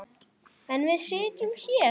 En við sitjum hér